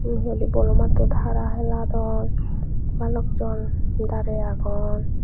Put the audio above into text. yun hihoide bolo mattot hara heladon balokjon darey agon.